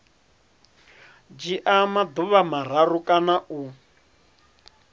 dzhia maḓuvha mararu kana u